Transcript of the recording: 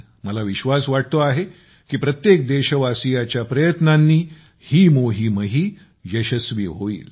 मला विश्वास वाटतो आहे की प्रत्येक देशवासीयाच्या प्रयत्नांनी ही मोहीमही यशस्वी होईल